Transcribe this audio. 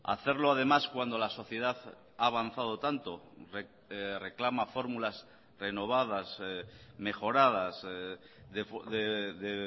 hacerlo además cuando la sociedad ha avanzado tanto reclama fórmulas renovadas mejoradas de